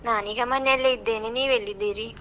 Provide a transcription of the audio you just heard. ನಾನೀಗ ಮನೆಯಲ್ಲೇ ಇದ್ದೇನೆ, ನೀವ್ ಎಲ್ಲಿದೀರಿ?